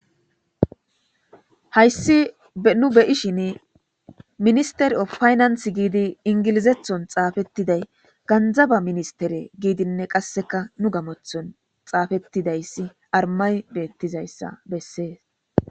Haysi nu beyoshini ministry of finance gidi ingilizathon xaafetiday ganzaba ministere gidi qase nu gamothon xaafetifaysi armay betizaysa besses